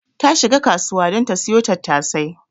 Ta shika kasuwa don ta siyo tattasai.